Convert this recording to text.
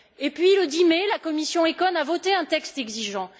Puis, le 10 mai, la commission ECON a voté un texte exigeant.